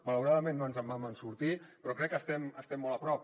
malauradament no ens en vam sortir però crec que estem molt a prop